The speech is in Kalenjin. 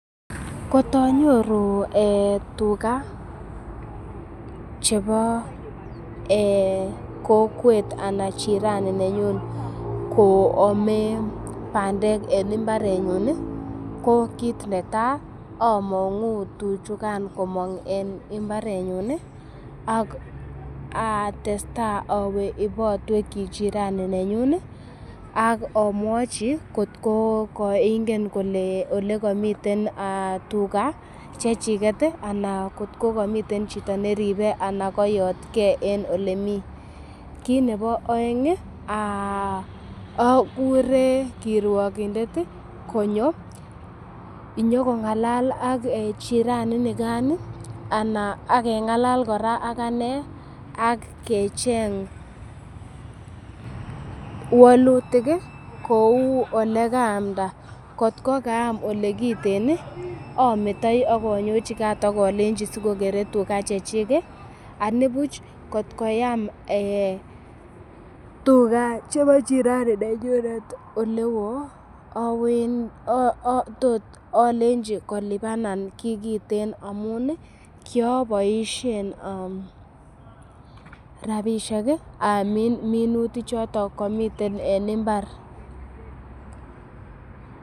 Kotonyoru tuga chebo kokwet ana jirani nenyun koame bandek en mbarenyun ii, ko kit netai among'u tuchukan komong en mbarenyun ak atestai awe ibotweki jirani nenyun ak amwochi kotko koingen ole komiten tuga chechik ana kotko komiten chito neribe ana koyotke en ole mi. Kit nebo oeng, ogure kirwogindet konyo inyokong'alal ak jiirani inikan ak keng'alal kora ak ane ak kecheng wolutik kou ole kaamda. Kot ko kaam ole kiten ometoi ak onyojikaat ak olenchi sikokere tuga chechik anibuch kotko am tuga chebo jirani nenyunet ole woo alenji kolipan kiy kiten amun kiaboishen rabishek amin minutik choton komiten en mbar.